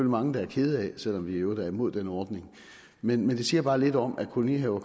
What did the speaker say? mange der er kede af selv om vi i øvrigt er imod den ordning men det siger bare lidt om at kolonihaver